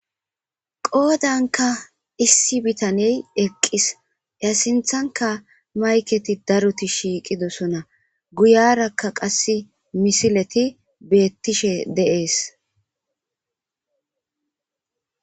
qoodanka issi bitaney eqqis ya sinthanka mayketi daruti shiiqidosona guyarakka qassi misileti beettishe de'ees